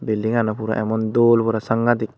building ano puro emon dol pura sangadik.